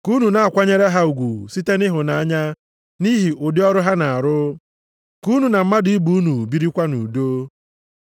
Ka unu na-akwanyere ha ugwu site nʼịhụnanya nʼihi ụdị ọrụ ha na-arụ. Ka unu na mmadụ ibe unu birikwa nʼudo.